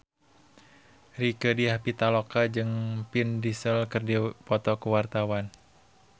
Rieke Diah Pitaloka jeung Vin Diesel keur dipoto ku wartawan